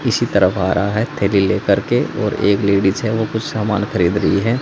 इसी तरफ आ रहा है थैली लेकर के और एक लेडिज है ओ कुछ सामान खरीद रही है।